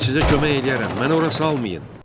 Mən sizə kömək eləyərəm, məni ora salmayın!